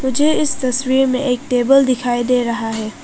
मुझे इस तस्वीर में एक टेबल दिखाई दे रहा है।